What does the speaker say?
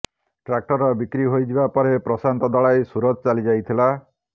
tractor ବିକ୍ରି ହୋଇଯିବା ପରେ ପ୍ରଶାନ୍ତ ଦଳାଇ ସୁରତ ଚାଲିଯାଇଥିଲା